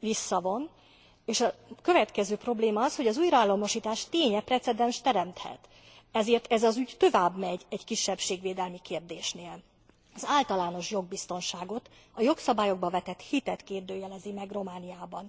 visszavonjon, és a következő probléma az, hogy az újraállamosítás ténye precedenst teremthet. Ezért ez az ügy messzebbre mutat egy kisebbségvédelmi kérdésnél. Az általános jogbiztonságot, a jogszabályokba vetett hitet kérdőjelezi meg Romániában.